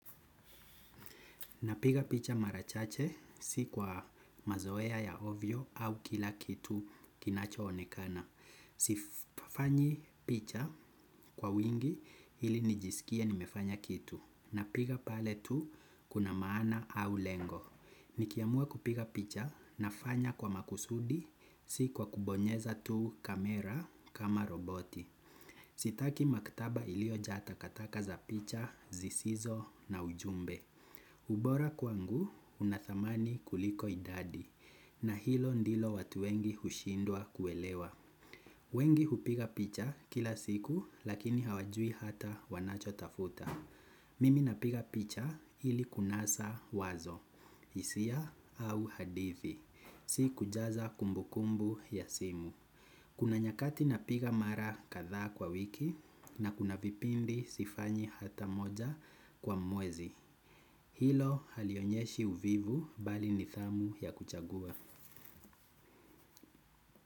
Napiga picha mara chache si kwa mazoea ya ovyo au kila kitu kinacho onekana. Sifanyi picha kwa wingi ilinijisikie nimefanya kitu. Napiga pale tu kuna maana au lengo. Nikiamua kupiga picha nafanya kwa makusudi si kwa kubonyeza tu kamera kama roboti. Sitaki maktaba ilio jaa takataka za picha, zisizo na ujumbe. Ubora kwangu unadhamani kuliko idadi na hilo ndilo watu wengi hushindwa kuelewa. Wengi hupiga picha kila siku lakini hawajui hata wanacho tafuta. Mimi napiga picha ili kunasa wazo, hisia au hadithi, si kujaza kumbukumbu ya simu. Kuna nyakati napiga mara kadha kwa wiki na kuna vipindi sifanyi hata moja kwa mwezi. Hilo halionyeshi uvivu bali nidhamu ya kuchagua.